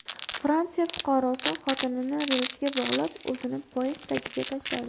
Fransiya fuqarosi xotinini relsga bog‘lab, o‘zini poyezd tagiga tashladi.